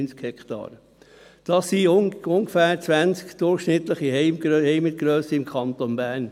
Das ist die Grösse von ungefähr 20 durchschnittlichen Heimet im Kanton Bern.